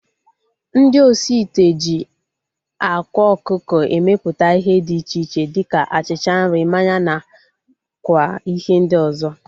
Ndị osi ite ji ákwá ọkụkọ emeputa ihe dị iche iche dịka achịcha, nri, mmanya na kwa ihe ndị ọzọ